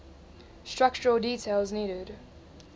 structural details needed